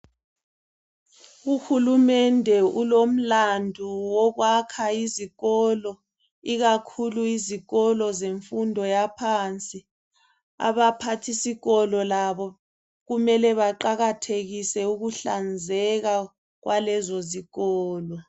Uhulumende ulomlandu wokwakha izikolo ikakhulu izikolo zemfundo yaphansi abaphathisikolo labo kumele baqakathekise ukuhlanzeka kwalezo zikolo